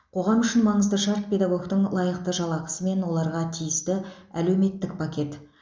қоғам үшін маңызды шарт педагогтің лайықты жалақысы мен оларға тиісті әлеуметтік пакет